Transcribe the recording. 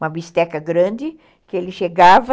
Uma bisteca grande, que ele chegava...